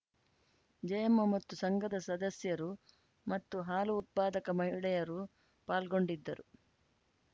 ಜಯಮ್ಮ ಮತ್ತು ಸಂಘದ ಸದಸ್ಯರು ಮತ್ತು ಹಾಲು ಉತ್ಪಾದಕ ಮಹಿಳೆಯರು ಪಾಲ್ಗೊಂಡಿದ್ದರು